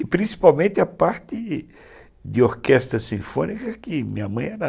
E principalmente a parte de de orquestra sinfônica que minha mãe era